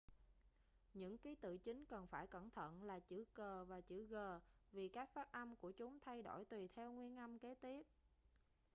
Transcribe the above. những ký tự chính cần phải cẩn thận là chữ c và chữ g vì cách phát âm của chúng thay đổi tùy theo nguyên âm kế tiếp